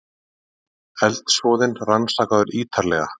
Eldsvoðinn rannsakaður ýtarlega